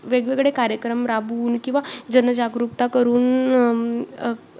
आपण असही समजू शकतो की सर्व आयुर्वेद पंचमहाभूत व त्रिभुन आणि त्रिदोष या सर्वांवर आधारित आहे.